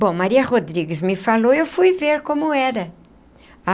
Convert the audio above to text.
Bom, Maria Rodrigues me falou e eu fui ver como era.